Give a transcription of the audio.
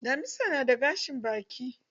Damisa na da gashin baki.